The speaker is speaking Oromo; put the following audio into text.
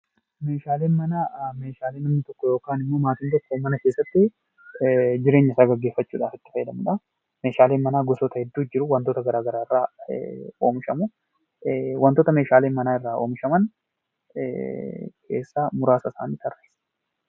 Meeshaaleen manaa meeshalee namni tokko ykn maatiin tokko mana keessatti jireenya isaa geggeeffachuudhaf itti fayyadaamuudha. meeshaaleen manaa gosoota hedduutu jiru wantoota garagaraa irraa oomishamu. Wantoota meeshaaleen manaa irraa oomishaman keessaa muraasa isaanii tarreessi.